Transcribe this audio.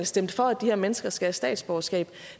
stemt for at de her mennesker skal have statsborgerskab